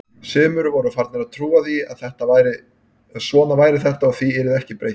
Sumir voru farnir að trúa því að svona væri þetta og því yrði ekki breytt.